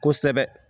Kosɛbɛ